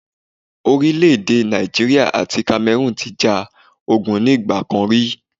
Orílẹ̀ èdè Nàìjíríà àti Cameroon ti ja ogun ní ìgbà kan ri